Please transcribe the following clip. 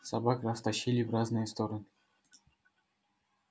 собак растащили в разные стороны